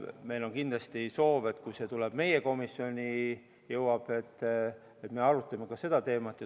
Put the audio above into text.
Meil on kindlasti soov, et kui see teema jõuab meie komisjoni, siis me arutame seda.